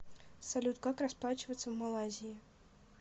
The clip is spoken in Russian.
салют как расплачиваться в малайзии